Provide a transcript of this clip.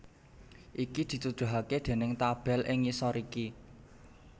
Iki dituduhaké déning tabel ing ngisor iki